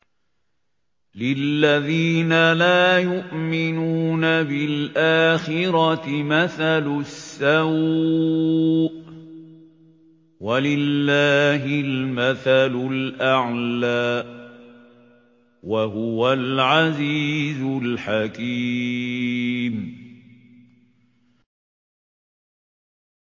لِلَّذِينَ لَا يُؤْمِنُونَ بِالْآخِرَةِ مَثَلُ السَّوْءِ ۖ وَلِلَّهِ الْمَثَلُ الْأَعْلَىٰ ۚ وَهُوَ الْعَزِيزُ الْحَكِيمُ